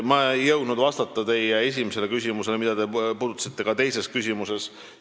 Ma ei jõudnud vastata teie esimese küsimuse ühele osale, mida te puudutasite ka teises küsimuses.